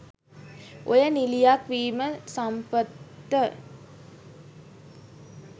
ඔයා නිළියක් වීම සම්පත්ට